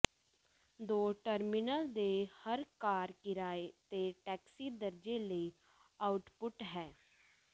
ਦੋ ਟਰਮੀਨਲ ਦੇ ਹਰ ਕਾਰ ਕਿਰਾਏ ਤੇ ਟੈਕਸੀ ਦਰਜੇ ਲਈ ਆਊਟਪੁੱਟ ਹੈ